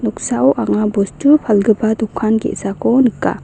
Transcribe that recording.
anga bostu palgipa dokan ge·sako nika.